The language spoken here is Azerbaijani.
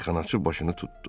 Meyxanaçı başını tutdu.